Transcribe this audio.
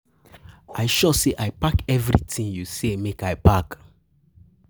I sure say I pack everything you say make I pack